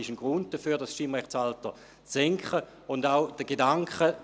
Dies ist ein Grund dafür, das Stimmrechtsalter zu senken.